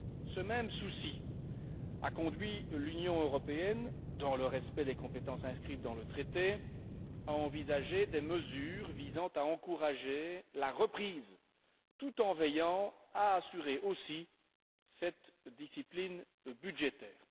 Ce même souci a conduit l'Union européenne, dans le respect des compétences inscrites dans le traité, à envisager des mesures visant à encourager la reprise tout en veillant à assurer aussi cette discipline budgétaire.